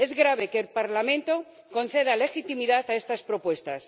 Es grave que el Parlamento conceda legitimidad a estas propuestas.